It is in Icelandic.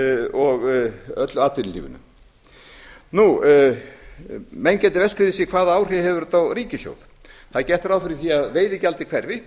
og öllu atvinnulífinu menn geta velt því fyrir sér hvaða áhrif hefur þetta á ríkissjóð það er gert ráð fyrir því að veiðigjaldið hverfi